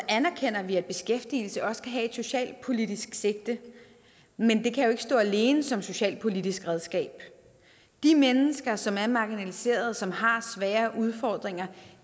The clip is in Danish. anerkender vi at beskæftigelse også kan have et socialpolitisk sigte men det kan jo ikke stå alene som socialpolitisk redskab de mennesker som er marginaliserede og som har svære udfordringer